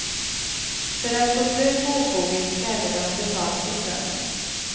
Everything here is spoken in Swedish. För att få slut på ofoget krävde de betalt för strömmen.